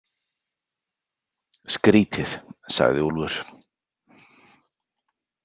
Skrítið, sagði Úlfur.